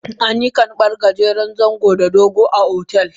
Ana yin karban gajeren zango da dogo a otel.